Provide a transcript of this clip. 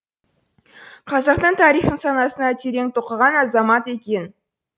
қазақтың тарихын санасына терең тоқыған азамат екен